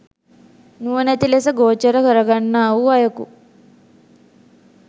නුවණැති ලෙස ගෝචර කරගන්නා වූ අයකු